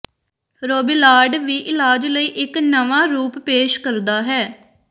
Robillard ਵੀ ਇਲਾਜ ਲਈ ਇਕ ਨਵਾਂ ਰੂਪ ਪੇਸ਼ ਕਰਦਾ ਹੈ